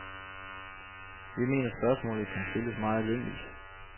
Vi mener spørgsmålet kan stilles meget enkelt.